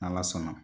N'ala sɔnna